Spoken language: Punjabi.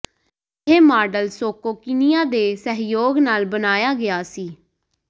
ਇਹ ਮਾਡਲ ਸੋਕੋ ਕੀਨੀਆ ਦੇ ਸਹਿਯੋਗ ਨਾਲ ਬਣਾਇਆ ਗਿਆ ਸੀ